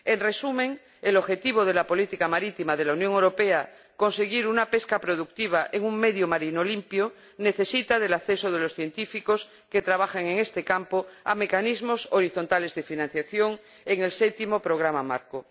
En resumen, el objetivo de la política marítima de la Unión Europea de conseguir una pesca productiva en un medio marino limpio necesita del acceso de los científicos que trabajan en este campo a mecanismos horizontales de financiación en el Séptimo Programa Marco.